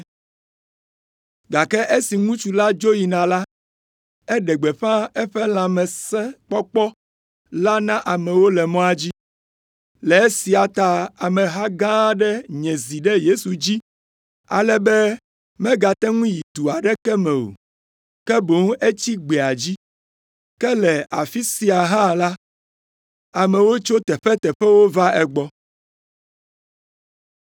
Gake esi ŋutsu la dzo yina la, eɖe gbeƒã eƒe lãmesẽkpɔkpɔ la na amewo le mɔa dzi. Le esia ta ameha gã aɖe nye zi ɖe Yesu dzi, ale be megate ŋu yi du aɖeke me o, ke boŋ etsi gbea dzi. Ke le afi sia hã la, amewo tso teƒeteƒewo va egbɔ.